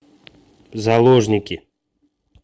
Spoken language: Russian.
заложники